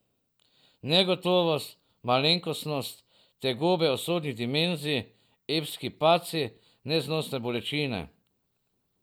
Negotovost, malenkostnost, tegobe usodnih dimenzij, epski padci, neznosne bolečine.